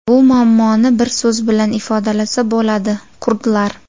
Bu muammoni bir so‘z bilan ifodalasa bo‘ladi – kurdlar .